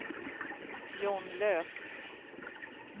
John Löf